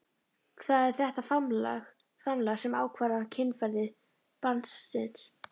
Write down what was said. Það er þetta framlag sem ákvarðar kynferði barnsins.